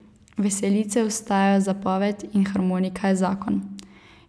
Veselice ostajajo zapoved in harmonika je zakon.